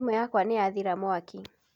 Thĩmũ yakwa nĩyathira mwaki.